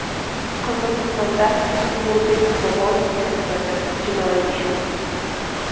Qirg‘izistonda O‘murbek Bobonovga nisbatan jinoiy ish ochildi.